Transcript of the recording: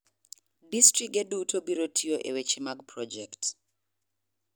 Distrige duto biro tiyo e weche mag projekt